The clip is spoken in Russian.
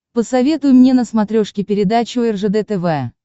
посоветуй мне на смотрешке передачу ржд тв